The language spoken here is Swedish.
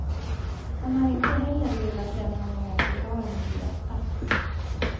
Han har inte heller velat lämna någon förklaring till detta.